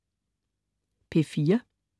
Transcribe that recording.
P4: